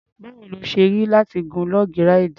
Báwo ló ṣe rí láti gun log ráìdì?